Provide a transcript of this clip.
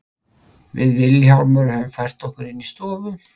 Við Vilhjálmur höfum fært okkur inn í stofu.